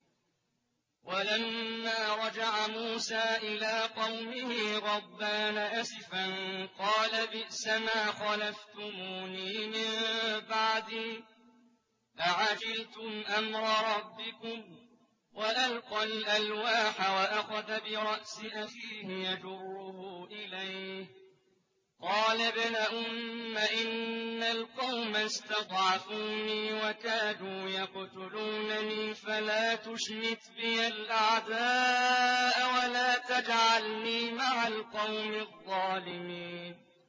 وَلَمَّا رَجَعَ مُوسَىٰ إِلَىٰ قَوْمِهِ غَضْبَانَ أَسِفًا قَالَ بِئْسَمَا خَلَفْتُمُونِي مِن بَعْدِي ۖ أَعَجِلْتُمْ أَمْرَ رَبِّكُمْ ۖ وَأَلْقَى الْأَلْوَاحَ وَأَخَذَ بِرَأْسِ أَخِيهِ يَجُرُّهُ إِلَيْهِ ۚ قَالَ ابْنَ أُمَّ إِنَّ الْقَوْمَ اسْتَضْعَفُونِي وَكَادُوا يَقْتُلُونَنِي فَلَا تُشْمِتْ بِيَ الْأَعْدَاءَ وَلَا تَجْعَلْنِي مَعَ الْقَوْمِ الظَّالِمِينَ